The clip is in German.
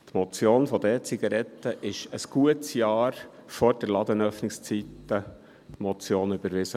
Die Motion zu den E-Zigaretten wurde ein gutes Jahr vor der Ladenöffnungszeiten-Motion überwiesen.